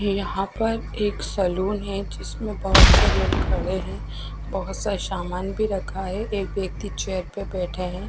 यहाँ पर एक सेलून है जिसमे बोहोत से लोग खड़े है बोहोत सा समन भी रखा है एक व्यक्ति चेयर पर बेठा है।